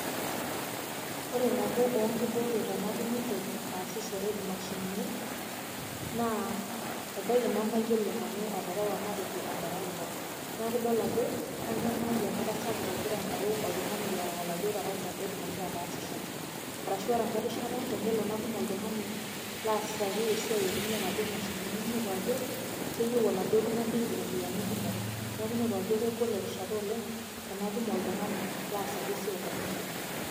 ore nabo oo nkibooreta natumito aasishore imashinini, naa ebaiki nemayiolo nanu atrewa oltarakita, neeu iidol ajo kanyamalu enkata sapuk agira aingoru oltungani loreu oladuoo tarakita, pee etumoki ataasisho. ore enka erishata tenelo natum oltungani laasaki esiai naitumia inadoo mashinini. ninepu ajo keyieu oladuoo tungani iropiyiani kumok, neeku inepu ajo kegol erihata olenge tenatum oltungani laasaki esiai too mashinini.